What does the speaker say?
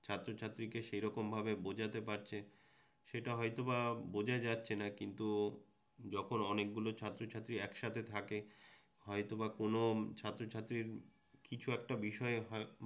ছাত্রছাত্রীকে সেরকমভাবে বোঝাতে পারছে সেটা হয়তোবা বোঝা যাচ্ছেনা কিন্তু যখন অনেকগুলো ছাত্রছাত্রী একসাথে থাকে হয়তোবা কোনও ছাত্রছাত্রীর কিছু একটা বিষয়ে হ